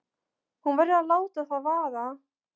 Hún verður að láta það vaða.